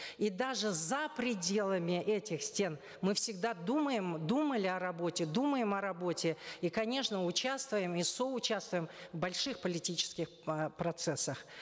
и даже за пределами этих стен мы всегда думаем думали о работе думаем о работе и конечно участвуем и соучаствуем в больших политических э процессах